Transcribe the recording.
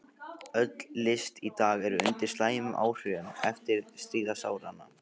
Öll list í dag er undir slæmum áhrifum eftirstríðsáranna.